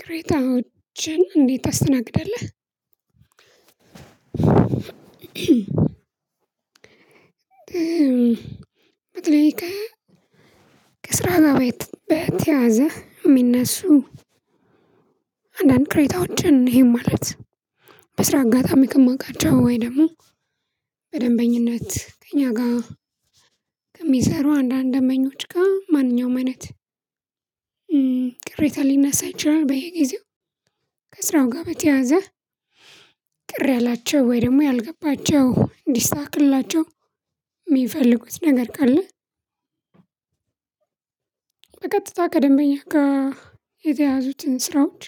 ቅሬታዎችን እንዴት ታስተናግደለህ? በተለይ ከስራ ጋር ቤት በተያያዘ የሚነሱ አንዳንድ ቅሬታዎችን ይሄም ማለት በስራ አጋጣሚ ከማውቃቸው ወይም ደግሞ በደንበኝነት ከእኛ ጋር ከሚሰሩ አንዳንድ ደምበኞች ጋር ማንኛውም አይነት ቅሬታ ሊነሳ ይችላል። በየጊዜው ከስራው ጋር በተያያዘ ቅር ያላቸው ወይ ደግሞ ያልገባቸው እንዲስተካክላቸው የሚፈልጉት ነገር ካለ። በቀጥታ ከደንበኛ ጋር የተያዙትን ስራዎች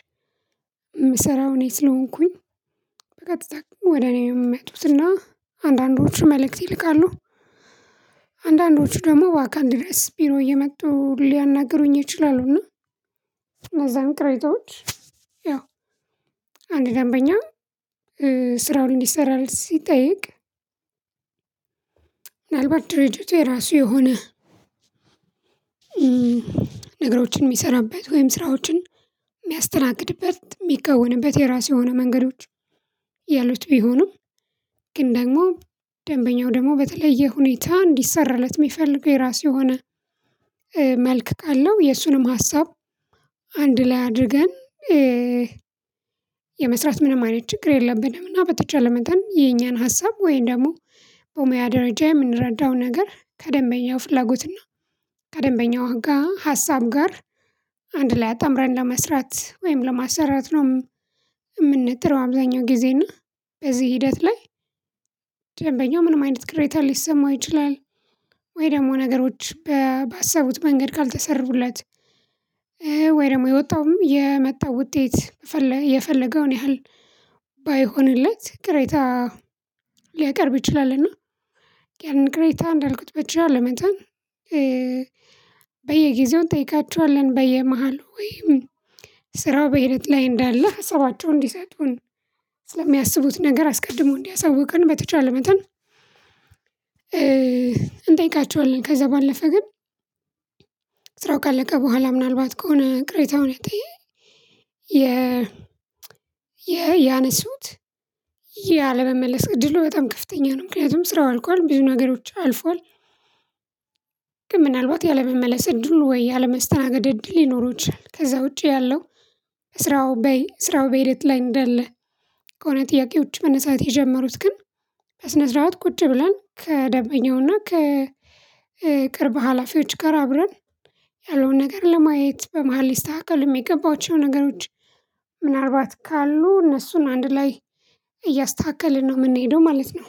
የምሰራው እኔ ስለሆንኩኝ በቀጥታ ወደ እኔ የሚመጡትና አንዳንዶቹ መልእክት ይልካሉ አንዳንዶቹ ደግሞ በአካል ድረስ ቢሮ እየመጡ ሊያናግሩኝ ይችላሉ። እና እነዛን ቅሬታዎች ያው አንድ ደንበኛ ስራውን እንዲሰራ ሲጠየቅ። ምናልባት ድርጅቱ የራሱ የሆነ ነገሮችን የሚሰራበት ወይም ስራዎችን የሚያስተናግድበት የሚከወንበት የራሱ የሆኑ መንገዶች ያሉት ቢሆኑም። ግን ደግሞ ደንበኛው ደግሞ በተለየ ሁኔታ እንዲሰራለት የሚፈልገው የራሱ የሆነ መልክ ካለው የእሱንም ሀሳብ አንድ ላይ አድርገን የመስራት ምንም አይነት ችግር የለብንም። እና በተቻለ መጠን የኛን ሀሳብ ወይም ደግሞ በሙያ ደረጃ የምንረዳው ነገር ከደንበኛው ፍላጎትና ከደንበኛው ጋር ሀሳብ ጋር አንድ ላይ አጣምረን ለመስራት ወይም ለማሰራት ነው። የምንጥው አብዛኛው ጊዜ እና በዚህ ሂደት ላይ ደንበኛው ምንም አይነት ቅሬታ ሊሰማው ይችላል። ወይ ደግሞ ነገሮች ባሰቡት መንገድ ካልተሰሩለት ወይ ደግሞ የወጣውም የመጣው ውጤት የፈለገውን ያህል ባይሆንለት ቅሬታ ሊያቀርብ ይችላልና። ያንን ቅሬታ እንዳልኩት በተቻለ መጠን በየግዜው እንጠይቃቸዋለን በየመሃል ወይም ስራው በሂደት ላይ እንዳለህ ሀሳባቸውን እንዲሰጡን ስለሚያስቡት ነገር አስቀድሞ እንዲያሳውቁን በተቻለ መጠን እንጠይቃቸዋለን። ከዛ ባለፈ ግን ስራው ካለቀ በኋላ ምናልባት ከሆነ ቅሬታውን የ ያነሱት ያለመመለስ እድሉ በጣም ከፍተኛ ነው ምክንያቱም ስራው አልቋል ብዙ ነገሮች አልፏል። ግን ምናልባት ያለመመለስ እድሉ ወይ ያለመስተናገድ እድል ሊኖረው ከዛ ውጪ ያለው ስራው ስራው በሂደት ላይ እንደለ። ከሆነ ጥያቄዎች መነሳት የጀመሩት ግን በስነ ስርዓት ቁጭ ብለን ከደንበኛውና ከቅርብ ሀላፊዎች ጋር አብረን ያለውን ነገር ለማየት በመሃል ሊስተካከል የሚገባቸው ነገሮች ምናልባት ካሉ እነሱን አንድ ላይ እያስተካከልን ነው የምንሄደው ማለት ነው።